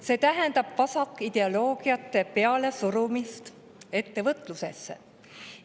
See tähendab vasakideoloogiate pealesurumist ettevõtlusele.